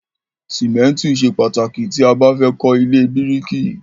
Ṣìmẹ́ntì ṣe pàtàkì tí a bá fẹ́ kọ́ ilé bíríìkì.